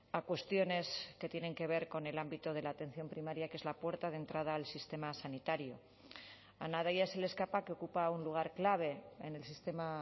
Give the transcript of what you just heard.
a cuestiones que tienen que ver con el ámbito de la atención primaria que es la puerta de entrada al sistema sanitario a nadie se le escapa que ocupa un lugar clave en el sistema